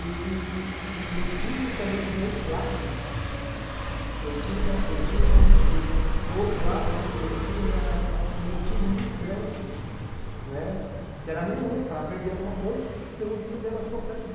E e eu tinha também do outro lado, eu tinha eu tinha, como se diz, do outro lado eu tinha ãh um motivo muito grande, né que era a minha mãe, para aprender alguma coisa, porque eu não queria ver ela sofrendo.